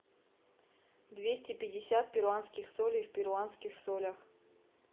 двести пятьдесят перуанских солей в перуанских солях